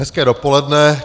Hezké dopoledne.